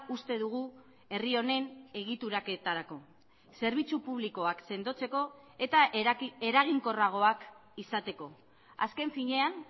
uste dugu herri honen egituraketarako zerbitzu publikoak sendotzeko eta eraginkorragoak izateko azken finean